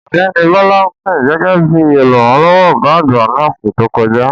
Ọ̀gbẹ́ni Bola sìn gẹ́gẹ́ bí olùrànlọ́wọ́ ọ̀gá àgbà ní ọsẹ to koja.